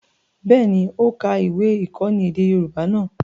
Bẹ́ẹ̀ni, ó ka ìwé-ìkọ́ni èdè Yorùbá náà.